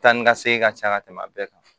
Taa ni ka segin ka ca ka tɛmɛ a bɛɛ kan